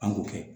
An k'o kɛ